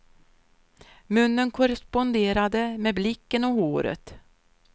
Munnen korresponderade med blicken och håret.